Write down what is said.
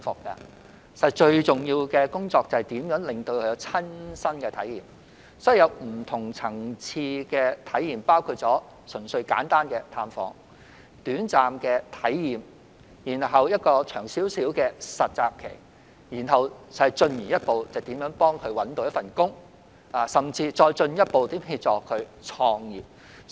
因此，要讓青年人有不同層次的體驗，包括純粹簡單的探訪、短暫的體驗，然後有一段較長的實習期，進而協助他們找工作，甚至再進一步協助他們創業。